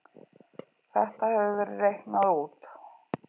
Þetta hefur verið reiknað út.